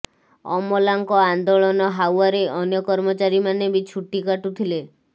ଅମଲାଙ୍କ ଆନ୍ଦୋଳନ ହାଓ୍ବାରେ ଅନ୍ୟ କର୍ମଚାରୀମାନେ ବି ଛୁଟି କାଟୁଥିଲେ